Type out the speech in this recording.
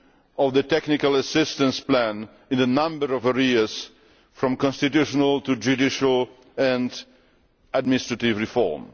of the technical assistance plan in a number of areas, from constitutional to judicial and administrative reform.